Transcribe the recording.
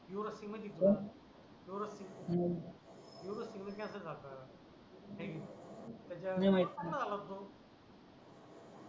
दोरस्ती मध्ये दोरस्ती मध्ये कॅन्सर झालता आहे की नाही त्याचा नाही माहीत नंतर चांगला झाला तो